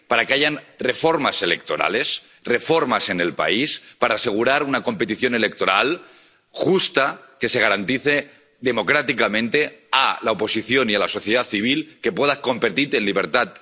Para que haya reformas electorales, reformas en el país, para asegurar una competición electoral justa, que garantice democráticamente a la oposición y a la sociedad civil que puedan competir en libertad